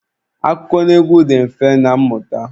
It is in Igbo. Akụkọnaegwu dị mfe na mmụta.